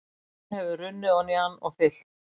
Hraun hefur runnið ofan í hann og fyllt.